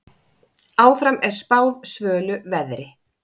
Áfram er spáð svölu veðri.